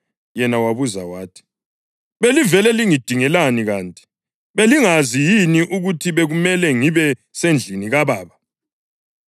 Yena wabuza wathi, “Belivele lingidingelani kanti? Belingazi yini ukuthi bekumele ngibe sendlini kaBaba?”